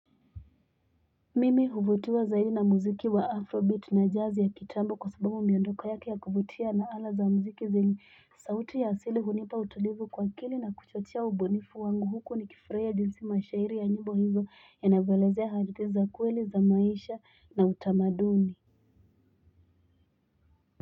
Mimi huvutiwa zaidi na muziki wa afrobeat na jazz ya kitambo kwa sababu miondoko yaki ya kuvutia na ala za muziki zenye sauti ya asili hunipa utulivu kwa akili na kuchotia ubonifu wangu huku nikifurahia jinsi mashairi ya nyimbo hizo yanavyoelezea hadithi za kweli za maisha na utamaduni.